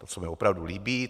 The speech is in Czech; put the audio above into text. To se mi opravdu líbí.